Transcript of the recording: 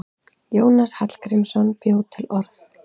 Jónas Hallgrímsson bjó til orð.